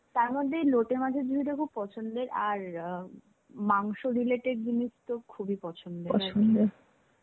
তার্মধে, লোটে মাছের ঝুড়িটা খুব পছন্দের. আর আ মাংস related জিনিস তো খুবই পছন্দের .